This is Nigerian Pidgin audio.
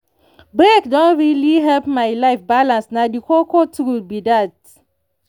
break don really help my life balance na the koko truth be that.